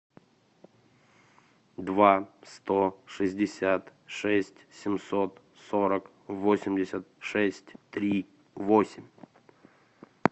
два сто шестьдесят шесть семьсот сорок восемьдесят шесть три восемь